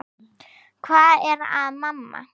Hvað er að, mamma?